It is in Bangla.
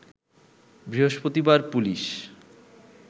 বৃহস্পতিবার পুলিশ